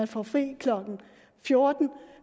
får fri klokken fjorten